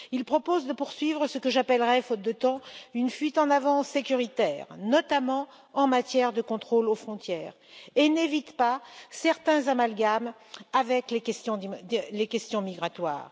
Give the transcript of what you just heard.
Il propose de poursuivre ce que j'appellerais, faute de temps, une fuite en avant sécuritaire, notamment en matière de contrôle aux frontières, et il n'évite pas certains amalgames avec les questions migratoires.